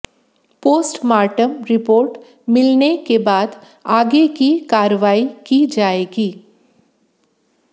postmortem report मिलने के बाद आगे की कार्रवाई की जाएगी